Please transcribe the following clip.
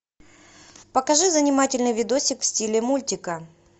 покажи занимательный видосик в стиле мультика